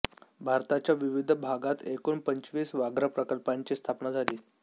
भारताच्या विविध भागात एकूण पंचवीस व्याघ्रप्रकल्पांची स्थापना झाली